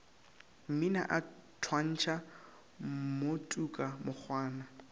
mmina a thwantšha mmotuka mokgwana